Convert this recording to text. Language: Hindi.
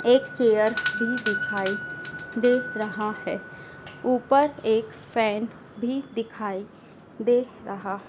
एक चेयर भी दिखाई दे रहा है ऊपर एक फैन भी दिखाई दे रहा--